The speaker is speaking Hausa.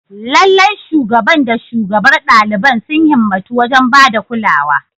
Lallai, Shugaban da shugabar ɗaliban sun himmatu wajen ba da kulawa.